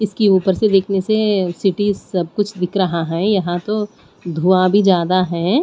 इसकी ऊपर से देखने से सिटीज सब कुछ दिख रहा है यहां तो धुआ भी ज्यादा है।